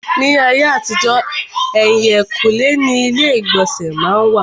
Ní ayé àtijọ́, èhìnkúnlé ni ilé ìgbọ̀nsẹ̀ má n wà.